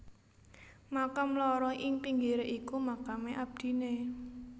Makam loro ing pinggire iku makame abdine